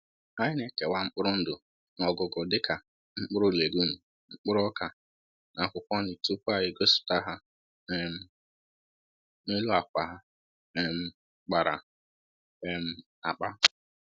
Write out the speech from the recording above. Anyị na-ekewa mkpụrụ ndụ n’ọgụgụ dịka mkpụrụ legume, mkpụrụ ọka, na akwụkwọ nri tupu anyị gosipụta ha um n’elu akwa a um kpara um akpa